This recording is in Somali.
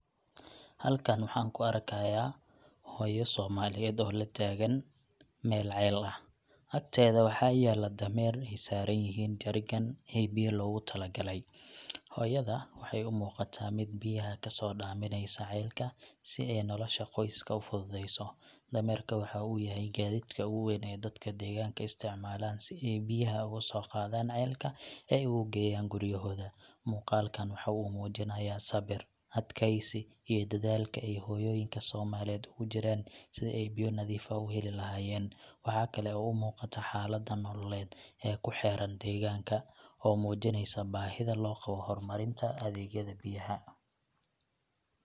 Halkan waxaan ku arkayaa hooyo Soomaaliyeed oo la taagan meel ceel ah. Agteeda waxa yaalla dameer ay saaran yihiin jerrycan ee biyo loogu tala galay. Hooyada waxay u muuqataa mid biyaha kasoo dhaaminaysa ceelka si ay nolosha qoyska u fududeyso. Dameerka waxa uu yahay gaadiidka ugu weyn ee dadka deegaanka isticmaalaan si ay biyaha uga soo qaadaan ceelka oo ay ugu geeyaan guryahooda. Muuqaalkan waxa uu muujinayaa sabir, adkaysi, iyo dadaalka ay hooyooyinka Soomaaliyeed ugu jiraan sidii ay biyo nadiif ah u heli lahaayeen. Waxa kale oo muuqata xaalada nololeed ee ku xeeran deegaanka, oo muujinaysa baahida loo qabo horumarinta adeegyada biyaha.